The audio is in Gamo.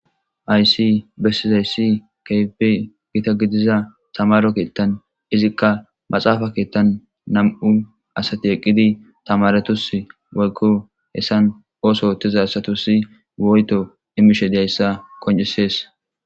Hayisi besizayisi kehippe gita gidiza tamari keeththani ezika maaxafa keeththani namu asati eqidi tamaretusi woyikko besani oththo ooththiza asatasi woyitto imishshe dizayisa qoncisesi